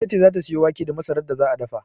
Ita ce za ta sayo wake da masarar da za a dafa.